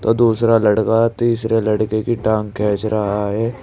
दूसरा लड़का तीसरे लड़के की टांग खींच रहा है।